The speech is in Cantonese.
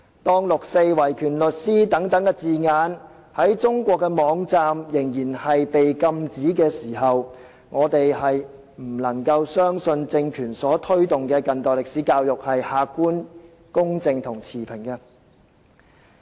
當六四和維權律師等字眼在中國網站仍然被禁止，我們不能夠相信由這個政權所推動的近代歷史教育是客觀、公正和持平的。